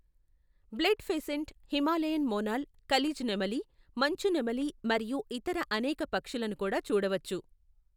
Blood pheasant, Himalayan monal, kalij నెమలి, మంచు నెమలి మరియు ఇతర అనేక పక్షులను కూడా చూడవచ్చు.